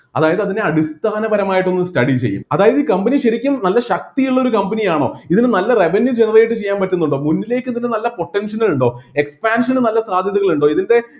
അതായത് അതിനെ അടിസ്ഥാനപരമായിട്ട് ഒന്ന് study ചെയ്യും അതായത് ഈ company ശരിക്കും നല്ല ശക്തിയുള്ള ഒരു company ആണോ ഇതിന് നല്ല revenue generate ചെയ്യാൻ പറ്റുന്നുണ്ടോ മുന്നിലേക്ക് ഇതിന് നല്ല potential കൾ ഉണ്ടോ expansion ന് നല്ല സാധ്യതകൾ ഉണ്ടോ ഇതിന്റെ